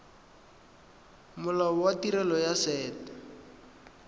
molao wa tirelo ya set